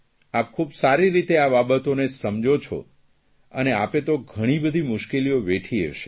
આપ ખૂબ સારી રીતે આ બાબતોને સમજો છો અને આપે તો ઘણી બધી મુશ્કેલીઓ વેઠી હશે